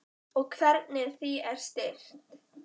Og hvernig því er stýrt.